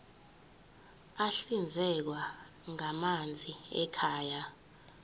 ahlinzekwa ngamanzi ekhaya